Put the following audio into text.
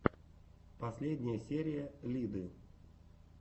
последняя серия лиды